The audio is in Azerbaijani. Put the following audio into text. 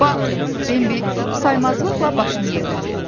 Bax, Bembi saymazlıqla başını yelədi.